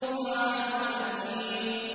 طَعَامُ الْأَثِيمِ